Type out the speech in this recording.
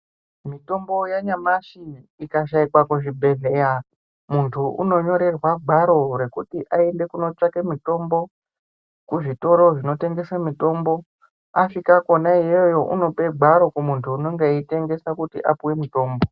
Mitombo yanyamashi ikashaika kuzvibhedhleya muntu unonyorerwe gwaro rekuti aende kunotsvake mutombo kuzvitoro zvinotengesa mitombo. Asvika kona iyoyo unope gwaro kumuntu anenge eitengesa kuti apave mutomba.